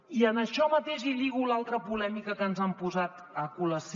i en això mateix hi lligo l’altra polèmica que ens han posat a col·lació